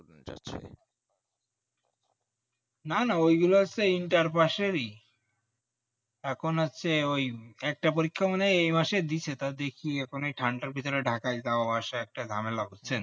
না না ওই গুলা হচ্ছে inter-pass ই এখন হচ্ছে ওই একটা পরীক্ষা মানে এই মাসে দিচ্ছে তাও দেখি এখন এই ঠান্ডার পিছনে Dhaka যাওয়া আসায় একটা ঝামেলা হচ্ছে আর কি বুঝছেন।